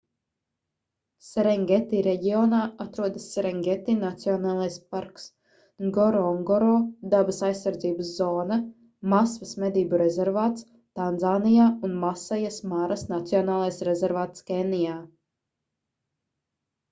serengeti reģionā atrodas serengeti nacionālais parks ngorongoro dabas aizsardzības zona masvas medību rezervāts tanzānijā un masajas maras nacionālais rezervāts kenijā